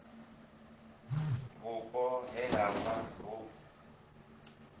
vhupo he ha vha hu